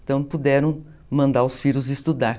Então puderam mandar os filhos estudar.